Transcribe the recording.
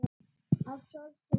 Að sorgin beið.